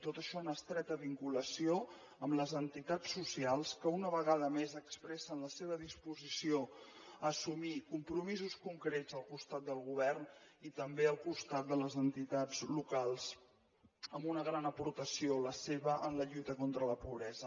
tot això en estreta vinculació amb les entitats socials que una vegada més expressen la seva disposició a assumir compromisos concrets al costat del govern i també al costat de les entitats locals amb una gran aportació la seva en la lluita contra la pobresa